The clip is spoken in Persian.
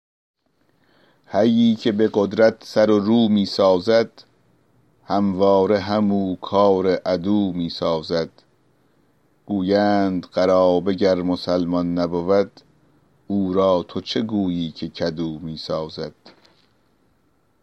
حیی که به قدرت سر و رو می سازد همواره همو کار عدو می سازد گویند قرابه گر مسلمان نبود او را تو چه گویی که کدو می سازد